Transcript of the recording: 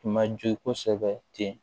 Tun ma jo kosɛbɛ ten